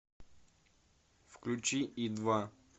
включи и два